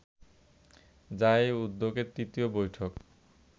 যা এ উদ্যোগের তৃতীয় বৈঠক